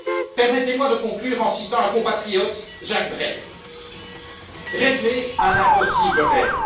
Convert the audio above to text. Alors permettez moi de conclure en citant un compatriote, Jacques Brel Rêver un impossible rêve,